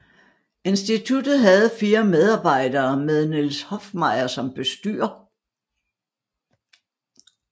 Instituttet havde fire medarbejdere med Niels Hoffmeyer som bestyrer